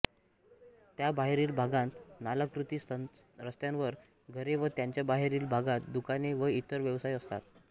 त्याबाहेरील भागांत नालाकृती रस्त्यांवर घरे व त्यांच्याबाहेरील भागात दुकाने व इतर व्यवसाय असतात